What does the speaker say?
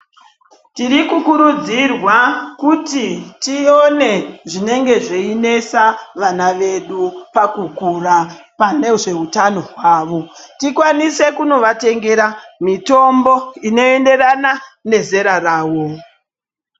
Tiri kukurudzirwa kuti tione zvinenge zveinesa vana vedu pakukura ,pane zveutano hwavo, tikwanise kunovatengera mitombo inoenderana nezera ravo.